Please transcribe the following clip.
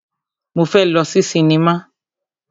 Mo fẹ́ lọ sí sinimá.